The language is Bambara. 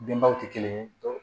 Denbaw tɛ kelen ye